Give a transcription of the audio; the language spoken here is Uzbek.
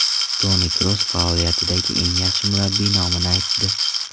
Toni Kroos faoliyatidagi eng yaxshi murabbiy nomini aytdi.